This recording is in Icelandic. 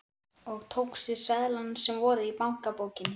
Og tókstu seðlana sem voru í bankabókinni?